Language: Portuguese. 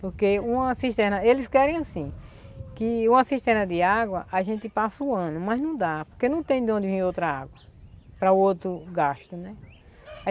Porque uma cisterna, eles querem assim, que uma cisterna de água a gente passa o ano, mas não dá, porque não tem de onde vir outra água para outro gasto, né?